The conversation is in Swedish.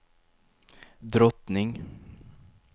drottning